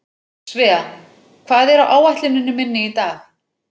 Svea, hvað er á áætluninni minni í dag?